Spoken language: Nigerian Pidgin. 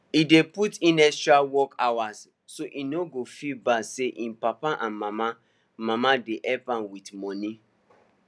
e dey put in extra work hours so e no go feel bad say him papa and mama mama dey help am with money